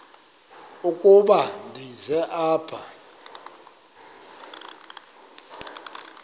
ukuba ndize apha